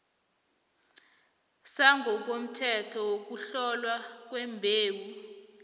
sangokomthetho sokuhlolwa kwembewu